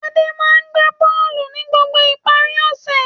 Adé máa ń gbá bọ́ọ́lù ní gbogbo ìparí ọ̀sẹ̀.